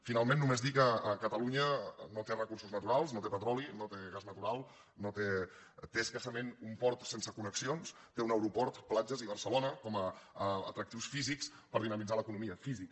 finalment només dir que catalunya no té recursos naturals no té petroli no té gas natural té escassament un port sense connexions té un aeroport platges i barcelona com a atractius físics per dinamitzar l’economia físics